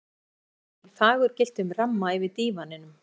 Jesú og lærisveinarnir í fagurgylltum ramma yfir dívaninum.